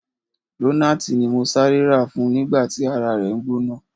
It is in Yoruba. Lonaati ni mo sare ra fun nigba ti ara re n gbona.